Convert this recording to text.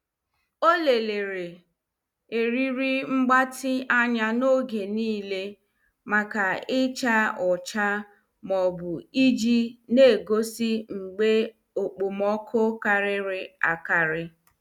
Ọ lelere eriri mgbatị anya n' oge niile maka icha ọcha ma ọ bụ iji na- egosi mgbe okpomọkụ karịrị akari.